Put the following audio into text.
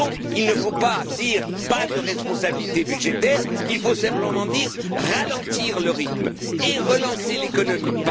Il ne faut pas dire pas de responsabilités budgétaires, il faut simplement dire ralentir le rythme et relancer l'économie.